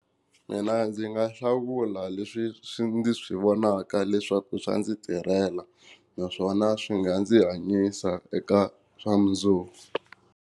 Mina ndzi nga hlawula leswi swi ndzi swi vonaka leswaku swa ndzi tirhela naswona swi nga ndzi hanyisa eka swa mundzuku.